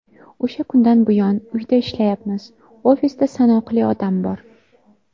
O‘sha kundan buyon uyda ishlayapmiz, ofisda sanoqli odam bor.